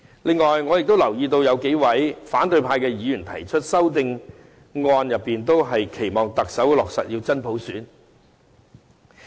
此外，我亦留意到有數位反對派議員提出的修正案，均期望特首能落實真普選。